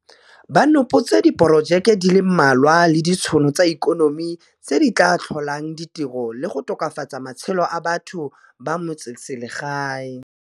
Ba nopotse diporojeke di le mmalwa le ditšhono tsa ikonomi tse di tla tlholang di tiro le go tokafatsa matshelo a batho ba metseselegae.